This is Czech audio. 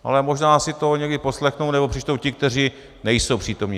Ale možná si to někdy poslechnou nebo přečtou ti, kteří nejsou přítomni.